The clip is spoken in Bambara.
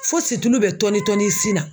Fo situlu bɛ tɔni tɔni i sin na.